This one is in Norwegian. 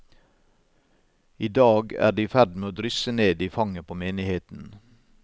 I dag er det i ferd med å drysse ned i fanget på menigheten.